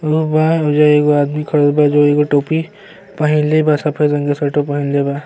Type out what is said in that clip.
उ बाहर हो जाई। एगो आदमी खड़ा बा जो एगो टोपी पहिंले बा। सफ़ेद रंग के स्वेटर पहिनले बा।